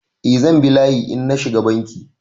Eh zan bi layi in na shiga Banki.